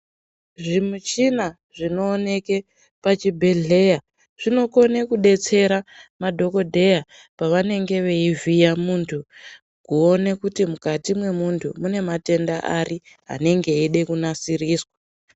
Zvimishina zvinoonekwa pachibhedheya zvinokone kudetsera madhokodheya pavanenge veivhiye muntu kuone kuti mukati mwemuntu mune matenda ari anenge eida kunasiriswa.